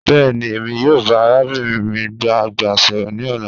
Bẹẹni Emi yoo ba arabinrin mi agba sọrọ ni ọla